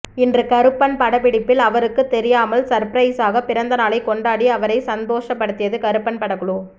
இன்று கருப்பன் படப்பிடிப்பில் அவருக்கு தெரியாமல் சப்ரைஸாக பிறந்த நாளை கொண்டாடி அவரை சந்தோச படுத்தியது கருப்பன் படக்குழு